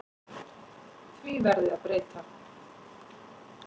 Því verði að breyta.